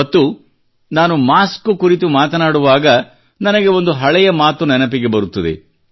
ಮತ್ತು ನಾನು ಮಾಸ್ಕ್ ಕುರಿತು ಮಾತನಾಡುವಾಗ ನನಗೆ ಒಂದು ಹಳೆಯ ಮಾತು ನೆನಪಿಗೆ ಬರುತ್ತದೆ